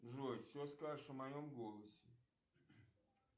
джой что скажешь о моем голосе